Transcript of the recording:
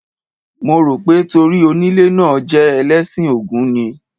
Mo rò pé torí onílé náà jẹ́ Ẹlẹ́sìn Ògún ni.